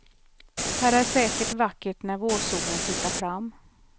Här är säkert vackert när vårsolen tittar fram.